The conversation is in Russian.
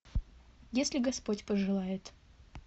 если господь пожелает